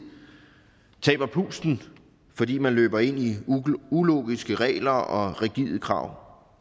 taber pusten fordi man løber ind i ulogiske regler og rigide krav